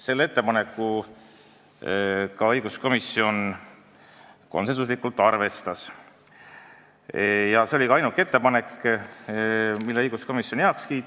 Seda ettepanekut arvestas õiguskomisjon konsensusega ja see oli ka ainuke ettepanek, mille õiguskomisjon heaks kiitis.